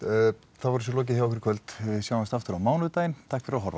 þá er þessu lokið í kvöld við sjáumst aftur á mánudaginn takk fyrir að horfa